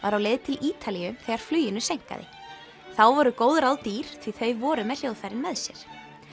var á leið til Ítalíu þegar fluginu seinkaði þá voru góð ráð dýr því þau voru með hljóðfærin með sér